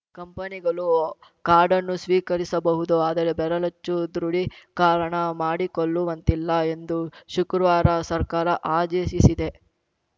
ಕಂಪನಿಗಳು ಕಾರ್ಡನ್ನು ಸ್ವೀಕರಿಸಬಹುದು ಆದರೆ ಬೆರಳಚ್ಚು ದೃಢೀಕಾರಣ ಮಾಡಿಕೊಳ್ಳುವಂತಿಲ್ಲ ಎಂದು ಶುಕ್ರವಾರ ಸರ್ಕಾರ ಆದೇಶಿಸಿದೆ